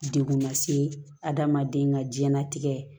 Dekun lase adamaden ka diɲɛlatigɛ